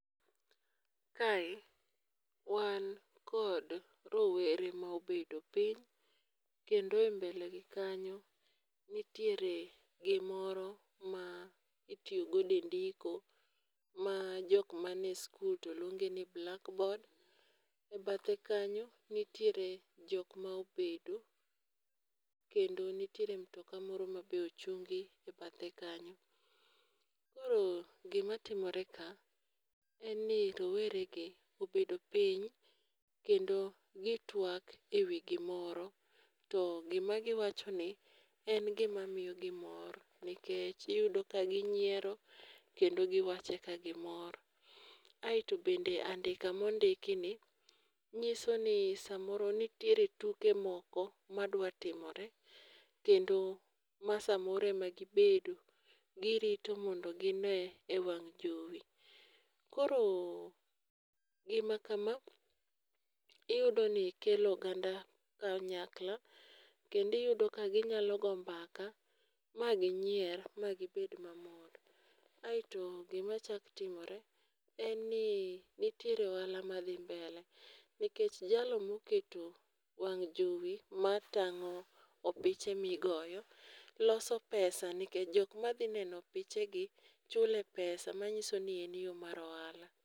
Kae wan kod rowere ma obedo piny kendo e mbele gi kanyo nitiere gi moro ma itiyo godo e ndiko ma jok man e skul to luonge ni blackboard,e bathe kanyo nitiere jok ma obedo kendo nitiere mtoka moro ma be ochungi e bathe kanyo. Koro gi ma timore kae en ni rowere gi obedo piny kendo gi twak e wi gimoro to gi ma gi wacho ni en gi ma miyo gi mor nikech iyudo ka gi nyiero kendo gi wache ka gi mor. Aito bende andika ma ondik kae ni ng'iso ni saa moro nitiere tuke moko ma dwa timore kendo ma saa moro ema gi bedo gi rito mondo gi nee e wang' jowi. Koro gi ma kama iyudo ni kelo oganda kanyakla kendo iyudo ka gi nyalo go mbaka ma gi nyier ma gi bed ma mor. Aito gi ma chak timore en ni nitiere ohala ma dhi mbele, nikech jalo ma oketo wang jowi ma tango opiche ma igoyo loso pesa nikech jok ma dhi neno opiche gi chule pesa ma ngiso ni en yo mar ohala.